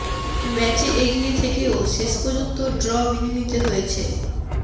ম্যাচে এগিয়ে থেকেও শেষ পর্যন্ত ড্র মেনে নিতে হয়েছে